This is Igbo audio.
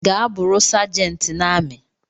Gaa bụrụi sergent na ami!